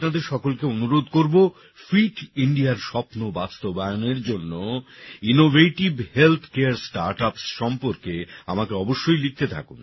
আমি আপনাদের সকলকে অনুরোধ করব ফিট ইন্ডিয়ার স্বপ্ন বাস্তবায়নের জন্য ইনোভেটিভ হেলথ কারে স্টার্টআপস সম্পর্কে আমাকে অবশ্যই লিখতে থাকুন